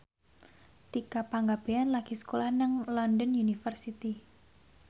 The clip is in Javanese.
Tika Pangabean lagi sekolah nang London University